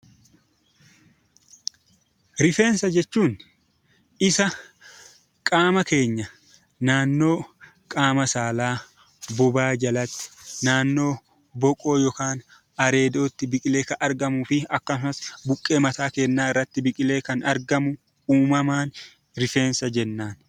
Rifeensa jechuun isa qaama keenya naannoo qaama saalaa, bobaa jalatti, naannoo boquu yookaan areedootti biqilee kan argamuu fi akkasumas buqqee mataa keenyaa irratti biqilee kan argamu uumamaan 'Rifeensa' jenna.